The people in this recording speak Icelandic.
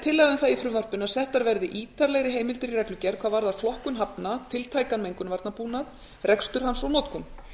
tillaga um það í frumvarpinu að settar verði ítarlegri heimildir í reglugerð hvað varðar flokkun hafna tiltækan mengunarvarnabúnað rekstur hans og notkun